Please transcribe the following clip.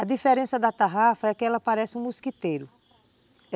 A diferença da tarrafa é que ela parece um mosquiteiro.